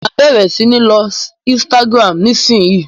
Máa bẹ̀rẹ̀ sí ní lo Instagram nisinyi.